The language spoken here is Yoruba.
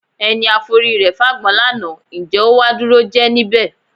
Ẹni a forí rẹ fágbọn lánàá, ǹjẹ́ ó wá dúró jẹ níbẹ̀?